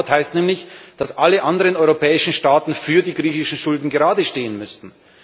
Ein Bail out heißt nämlich, dass alle anderen europäischen Staaten für die griechischen Schulden geradestehen müssten.